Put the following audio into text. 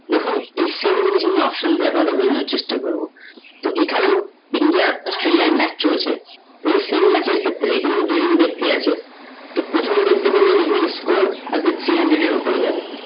দেখুন এই same জিনিস আমি option দিয়ে বোঝানোর চেষ্টা করবো তো এখানে India Australia এর match চলছে, তো সেই match এর ক্ষেত্রে এখানে দু জন ব্যক্তি আছে, তো প্রথম ব্যাক্তি বললো এখানে score আজকে three hundred এর ওপরে যাবে